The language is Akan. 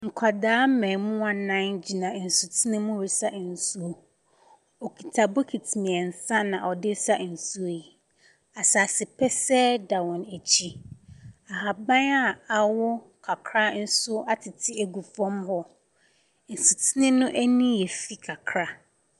Nkwadaa mmaamua nnan gyina nsutene mu resa nsuo. Wɔkita bokiti mmeɛnsa na wɔde resa nsuo yi. Asase pɛsɛɛ da wɔn akyi. Ahaban a awo kakra nso atete agu fam hɔ. Nsutene no yɛ fi kakra.